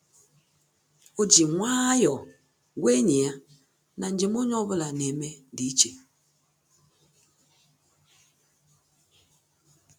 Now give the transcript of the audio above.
Ọ́ jì nwayọ́ọ̀ gwàá ényì ya na njem onye ọ bụla nà-émé dị̀ iche.